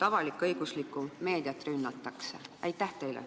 Avalik-õiguslikku meediat rünnatakse ju jõupositsioonilt.